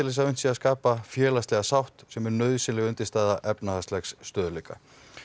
þess að unnt sé að skapa félagslegu sátt sem er nauðsynleg undirstaða efnahagslegs stöðugleika